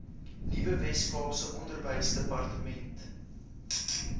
nuwe weskaapse onderwysdepartement